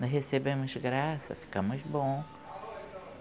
Nós recebemos graça, ficamos bons.